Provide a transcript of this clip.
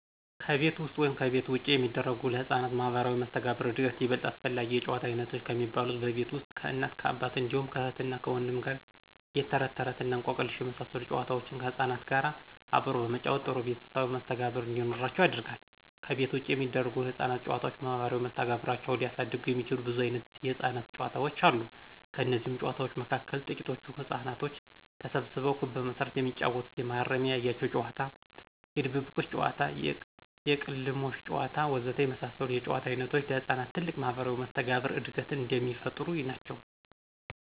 ከቤት ውስጥ ወይም ከቤት ውጭ የሚደረጉ ለሕፃናት ማህበራዊ መስተጋብር ዕድገት ይበልጥ አስፈላጊ የጨዋታ ዓይነቶች ከሚባሉት በቤት ውስጥ ከእናትና አባት እንዲሁም ከእህትና ወንድም ጋር የተረትተረት እና እንቆቅልሽ የመሳሰሉ ጨዋታዎችን ከሕፃናት ጋር አብሮ በመጫወት ጥሩ ቤተሰባዊ መስተጋብር እንዲኖራቸው ያደርጋል፤ ከቤት ውጭ የሚደረጉ የሕፃናት ጨዋታዎች ማህበራዊ መስተጋብራቸውን ሊያሳድጉ የሚችሉ ብዙ ዓይነት የሕፃናት ጨዋታዎች አሉ። ከነዚህም ጨዋታዎች መካከል ትቂቶቹ ሕፃናቶች ተሰብስበው ክብ በመስራት የሚጫወቱት የመሃረሜን ያያችሁ ጨዋታ፣ የድብብቆሽ ጨዋታ፣ የቅልሞሽ ጨዋታ ወዘተ የመሳሰሉት የጨዋታ ዓይነቶች ለሕፃናት ትልቅ የማህበራዊ መስተጋብር ዕድገትን የሚፈጥሩ ናቸው።